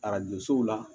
Arajo so la